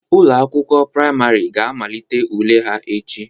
Ụlọ akwụkwọ priamarị ga amalite ule ha echi.